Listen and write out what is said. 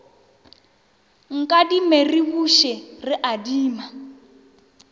nkadime ke buše re adima